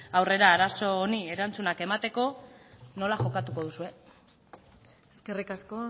aurrera arazo honi erantzuna emateko nola jokatuko duzue eskerrik asko